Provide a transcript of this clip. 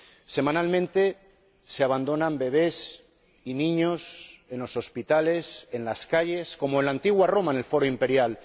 Semanalmente se abandonan bebés y niños en los hospitales, en las calles, como en la antigua Roma en el foro imperial.